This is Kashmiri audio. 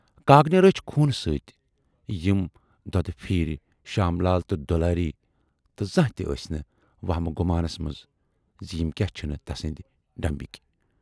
کاکنہِ رٔچھۍ خوٗنہٕ سٍتۍ یِم دۅدٕ پھٮ۪رۍ شام لال تہٕ دُلاری تہٕ زانہہ تہِ آس نہٕ ؤہمہٕ گُمانس منز زِ یِم کیاہ چھِنہٕ تسٕندِ ڈیمبٕکۍ۔